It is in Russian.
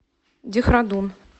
дехрадун